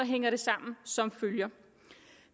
hænger det sammen som følger